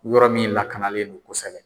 Yɔrɔ min lakanalen don kosɛbɛ.